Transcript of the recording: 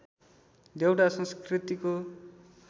देउडा संस्कृतिको